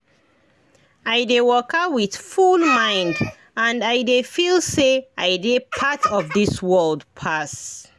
i dey waka with full mind — and i dey feel say i dey part of this world pass.